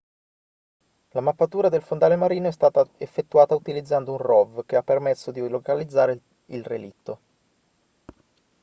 la mappatura del fondale marino è stata effettuata utilizzando un rov che ha permesso di localizzare il relitto